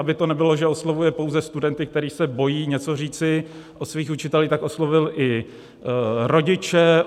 Aby to nebylo, že oslovuje pouze studenty, kteří se bojí něco říci o svých učitelích, tak oslovil i rodiče.